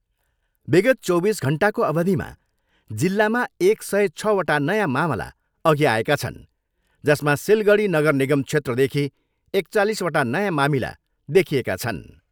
विगत चौबिस घन्टाको अवधिमा जिल्लामा एक सय छवटा नयाँ मामला अघि आएका छन् जसमा सिलगडी नगर निगम क्षेत्रदेखि एकचालिसवटा नयाँ मामिला देखिएका छन्।